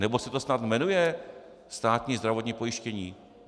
Nebo se to snad jmenuje státní zdravotní pojištění?